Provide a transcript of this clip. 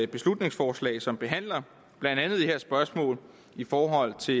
beslutningsforslag som behandler blandt andet det her spørgsmål i forhold til